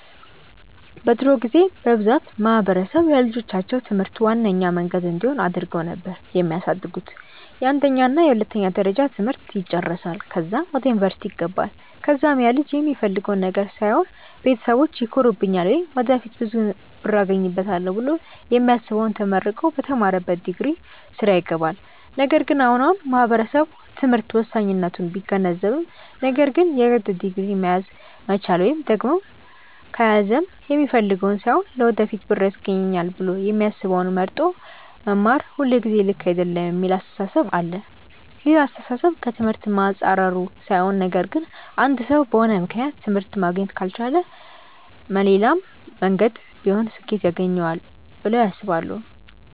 በድሮ ጊዜ በብዛት ማህበረሰብ ለልጆቻቸው ትምህርት ዋነኛ መንገድ እንዲሆን አድርገው ነበር የሚያሳድጉት፤ የአንደኛ እና የሁለተኛ ደረጃ ትምህርት ይጨረሳል ከዛም ወደ ዩኒቨርስቲ ይገባል ከዛም ያልጅ የሚፈልገውን ነገር ሳይሆን ቤተሰቢቼ ይኮሩብኛል ወይም ወደፊት ብዙ ብር አገኝበታለው ብሎ የሚያስበውን ተመርቆ በተማረበት ዲግሪ ስራ ይገባል። ነገር ግን አሁን አሁን ማህበረሰቡ ትምህርት ወሳኝነቱን ቢገነዘብም ነገር ግን የግድ ዲግሪ መያዝ መቻል ወይም ደግም ከያዘም የሚፈልገውን ሳይሆን ለወደፊት ብር ያስገኘኛል ብሎ የሚያስበውን መርጦ መማር ሁልጊዜ ልክ አይደለም የሚል አስተሳሰብ አለ። ይህ አስተሳሰብ ከ ትምህርት መፃረሩ ሳይሆን ነገር ግን አንድ ሰው በሆነ ምክንያት ትምህርት ማግኘት ካልቻለ መሌላም መንገድ ቢሆን ስኬት ያገኘዋል ብለው ያስባሉ።